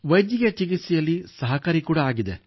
ವೈದ್ಯಕೀಯ ಚಿಕಿತ್ಸೆಯಲ್ಲಿ ಸಹಾಯಕಾರಿಯಾಗಿದೆ